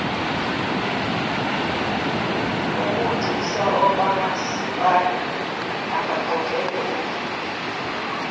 obugcisa okwamasipala angaqokele